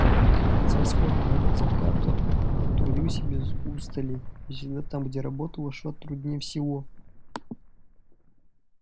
с восхода и до заката трудился без устали и всегда там где работа шла труднее всего